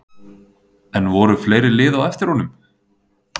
En voru fleiri lið á eftir honum?